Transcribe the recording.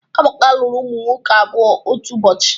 Amaka lụrụ ụmụ nwoke abụọ otu ụbọchị